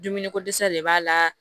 Dumuni ko dɛsɛ de b'a la